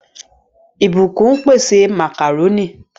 Blessing n pèsè macaroni.